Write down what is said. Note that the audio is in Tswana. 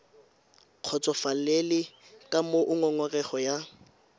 kgotsofalele ka moo ngongorego ya